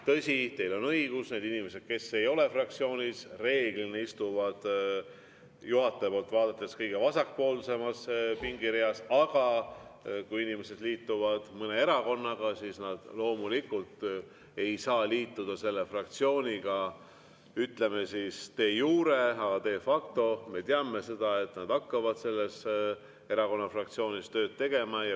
Tõsi, teil on õigus, need inimesed, kes ei ole fraktsioonis, reeglina istuvad juhataja poolt vaadates kõige vasakpoolsemas pingireas, aga kui inimesed liituvad mõne erakonnaga, siis nad loomulikult ei saa liituda selle fraktsiooniga, ütleme siis, de jure, aga de facto, me teame, nad hakkavad selle erakonna fraktsioonis tööd tegema.